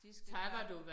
De skal